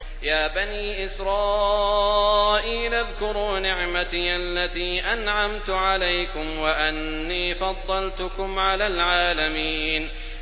يَا بَنِي إِسْرَائِيلَ اذْكُرُوا نِعْمَتِيَ الَّتِي أَنْعَمْتُ عَلَيْكُمْ وَأَنِّي فَضَّلْتُكُمْ عَلَى الْعَالَمِينَ